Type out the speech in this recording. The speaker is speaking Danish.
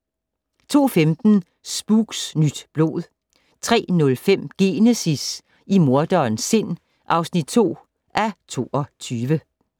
02:15: Spooks: Nyt blod 03:05: Genesis - i morderens sind (7:22)